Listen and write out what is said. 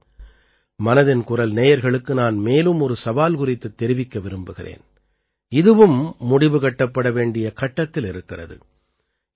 இன்று மனதின் குரல் நேயர்களுக்கு நான் மேலும் ஒரு சவால் குறித்துத் தெரிவிக்க விரும்புகிறேன் இதுவும் முடிவு கட்டப்பட வேண்டிய கட்டத்தில் இருக்கிறது